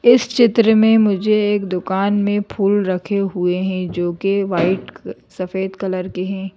इस चित्र में मुझे एक दुकान में फूल रखे हुए हैं जो कि वाइट सफेद कलर के हैं।